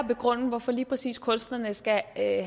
begrunde hvorfor lige præcis kunstnerne skal have